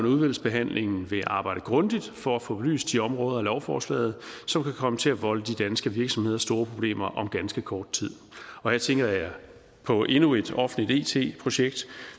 i udvalgsbehandlingen vil arbejde grundigt for at få belyst de områder af lovforslaget som kan komme til at volde de danske virksomheder store problemer om ganske kort tid og her tænker jeg på endnu et offentligt it projekt